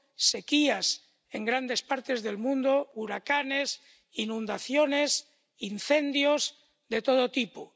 sequías en grandes partes del mundo, huracanes, inundaciones, incendios de todo tipo—.